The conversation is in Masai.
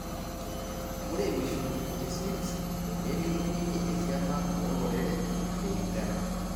Ore mishon 56 Nelimu ninye esiana oloreren le Uganda